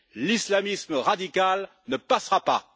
L'islamisme radical ne passera pas!